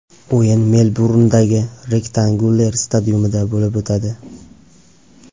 O‘yin Melburndagi Rectangular Stadium’da bo‘lib o‘tadi.